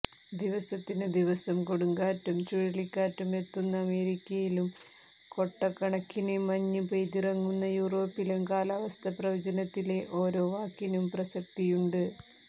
ദിവസത്തിന് ദിവസം കൊടുങ്കാറ്റും ചുഴലിക്കാറ്റും എത്തുന്ന അമേരിക്കയിലും കൊട്ടക്കണക്കിന് മഞ്ഞ് പെയ്തിറങ്ങുന്ന യൂറോപ്പിലും കാലാവസ്ഥ പ്രവചനത്തിലെ ഓരോ വാക്കിനും പ്രസക്തിയുണ്ട്